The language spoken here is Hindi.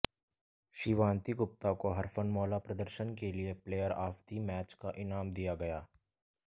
शिवांती गुप्ता को हरफनमौला प्रदर्शन के लिए प्लेयर आफ दि मैच का इनाम दिया गया